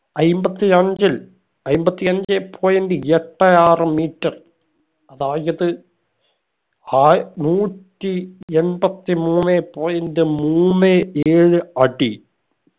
അയ്മ്പതി അഞ്ചിൽ അയ്മ്പതി അഞ്ചേ point എട്ടേ ആറ് metre അതായത് ഹാ നൂറ്റി എൺപത്തി മുന്നേ point മൂന്നേ ഏഴ് അടി